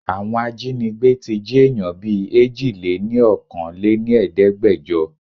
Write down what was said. Àwọn ajínígbé tí jí èèyàn bìí Èjìléníokòóléníẹ̀ẹ́dẹ́gbẹjo.